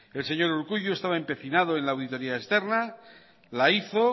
el señor urkullu estaba empecinado en la auditoría externa la hizo